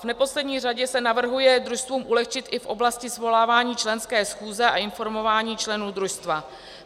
V neposlední řadě se navrhuje družstvům ulehčit i v oblasti svolávání členské schůze a informování členů družstva.